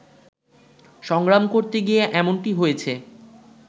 সংগ্রাম করতে গিয়ে এমনটি হয়েছে